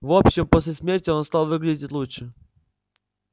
в общем после смерти он стал выглядеть лучше